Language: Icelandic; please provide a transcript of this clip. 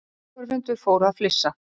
Áhorfendur fóru að flissa.